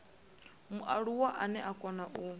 mualuwa ane a kona u